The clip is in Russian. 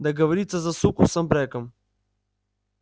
договориться за суку с абреком